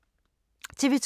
TV 2